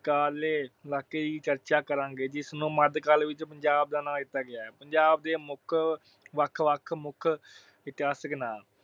ਕਾਰਲੇ ਇਲਾਕੇ ਦੀ ਚਰਚਾ ਕਰਾਂਗੇ। ਜਿਸ ਨੂੰ ਮੱਧ ਕਾਲ ਵਿੱਚ ਪੰਜਾਬ ਦਾ ਨਾਂ ਦਿੱਤਾ ਗਿਆ ਹੈ। ਪੰਜਾਬ ਦੇ ਮੁੱਖ ਅਹ ਵੱਖ-ਵੱਖ ਮੁੱਖ ਇਤਿਹਾਸਕ ਨਾਮ